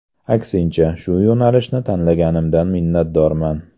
Aksincha, shu yo‘nalishni tanlaganimdan minnatdorman.